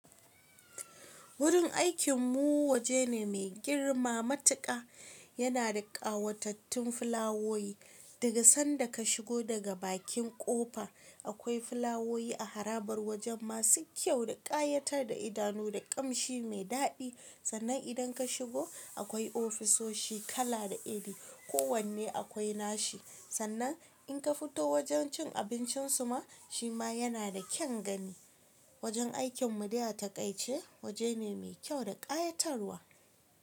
Wurin aikin mu waje ne mai girma matuƙa. Yana da ƙawatatattun fulawowi daga sanda ka shigo daga bakin ƙofa. Akwai fulawowi a harabar wajen masu kyau da ƙayatar da idanu da ƙamshi mai daɗi. Sannan idan ka shigo akwai ofisoshi kala da iri, kowanne akwai nashi. Sannan in ka fito wajen cin abincin su ma shi ma yana da kyan gani. Wajen aikin mu dai a taƙaice waje ne mai kyau da ƙayatarwa.